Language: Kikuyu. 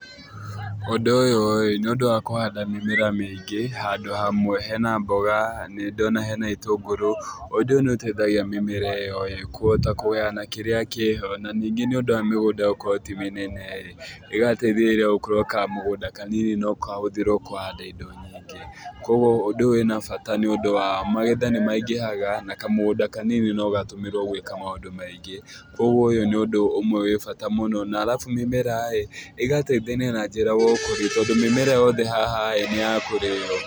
Ũndũ ũyũ ĩ, nĩ ũndũ wa kũhanda mĩmera mĩingĩ handũ hamwe hena mboga, nĩndona hena itũngũrũ. Ũndũ ũyũ nĩũteithagia mĩmera ĩyo kũhota kũgayana kĩrĩa kĩho. Na ningĩ nĩundũ wa mĩgũnda gũkorwo ti mĩnene ĩ, ĩgateĩthĩrĩria gũkorwo kamũgũnda kanini no kahũthĩrwo kũhanda indo nyingĩ. Koguo ũndũ ũyũ wĩna bata nĩundũ wa magetha nĩmaingĩhaga, na kamũgũnda kanini no gatũmĩrwo gwĩka maũndũ maingĩ. Koguo ũyũ nĩ ũndũ ũmwe wi bata mũno. Na alafu mĩmera ĩgateithania na njĩra ya ũkũria tondũ mĩmera yothe haha nĩ ya kurĩo.